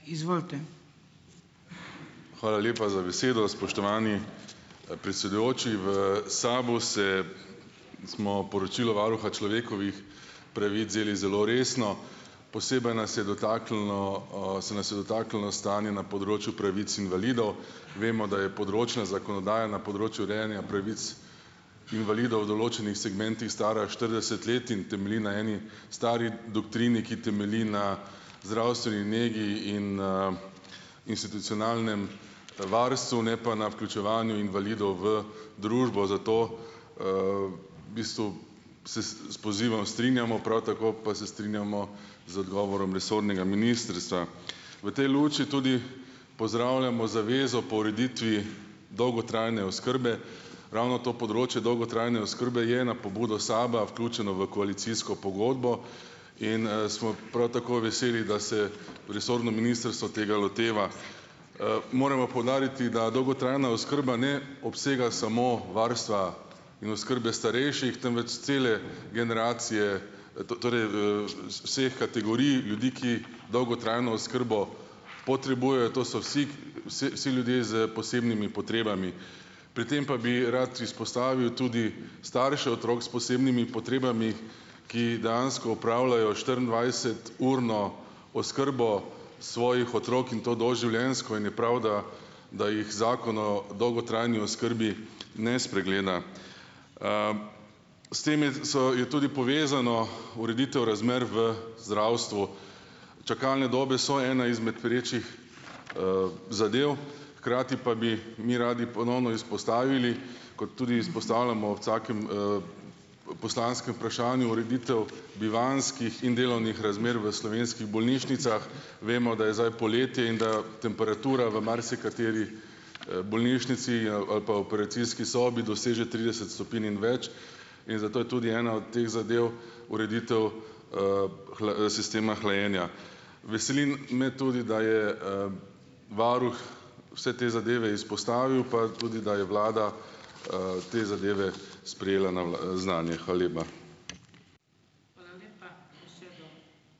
Izvolite. Hvala lepa za besedo, spoštovani, predsedujoči. V SAB-u se, smo poročilo varuha človekovih pravic vzeli zelo resno. Posebej nas je dotaknilo, se nas je dotaknilo stanje na področju pravic invalidov. Vemo , da je področna zakonodaja na področju urejanja pravic invalidov v določenih segmentih stara štirideset let in temelji na eni stari doktrini, ki temelji na zdravstvu in nekje in, institucionalnem, varstvu , ne pa na vključevanju invalidov v družbo, zato, bistvu se s pozivom strinjamo, prav tako pa se strinjamo z odgovorom resornega ministrstva. V tej luči tudi pozdravljamo zavezo po ureditvi dolgotrajne oskrbe. Ravno to področje dolgotrajne oskrbe je na pobudo SAB-a vključeno v koalicijsko pogodbo in, smo prav tako veseli, da se resorno ministrstvo tega loteva . moram pa poudariti, da dolgotrajna oskrba ne obsega samo varstva in oskrbe starejših, temveč cele generacije, torej v, vseh kategorij ljudi, ki dolgotrajno oskrbo potrebujejo . To so vsi , vsi ljudje s posebnimi potrebami. Pri tem pa bi rad izpostavil tudi starše otrok s posebnimi potrebami, ki dejansko opravljajo štiriindvajseturno oskrbo svojih otrok in to doživljenjsko in je prav, da da jih Zakon o dolgotrajni oskrbi ne spregleda. S tem je, so, je tudi povezano ureditev razmer v zdravstvu. Čakalne dobe so ena izmed perečih, zadev, hkrati pa bi mi radi ponovno izpostavili, kot tudi izpostavljamo ob vsakem, poslanskem vprašanju, ureditev bivanjskih in delovnih razmer v slovenskih bolnišnicah. Vemo, da je zdaj poletje in da temperatura v marsikateri, bolnišnici in, ali pa operacijski sobi doseže trideset stopinj in več in zato je tudi ena od teh zadev ureditev, sistema hlajenja. Veseli me tudi, da je, varuh vse te zadeve izpostavil pa tudi , da je vlada, te zadeve sprejela na znanje. Hvala lepa.